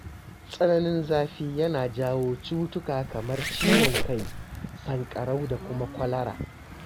Tsananin zafi yana jawo cutuka kamar ciwon kai, sanƙarau da kuma kwalara.